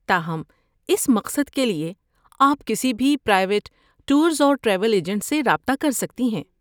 تاہم، اس مقصد کے لیے، آپ کسی بھی پرائیویٹ ٹورز اور ٹریول ایجنٹ سے رابطہ کر سکتی ہیں۔